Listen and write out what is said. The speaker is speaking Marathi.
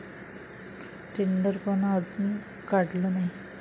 टेंडरपण अजून काढलं नाही.